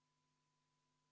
V a h e a e g